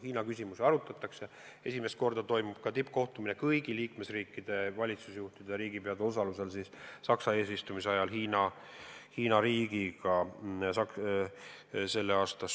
Hiina küsimusi arutatakse ja Saksamaa eesistumise ajal toimub esimest korda ka tippkohtumine Hiina riigi esindajatega kõigi liikmesriikide valitsusjuhtide ja riigipeade osalusel.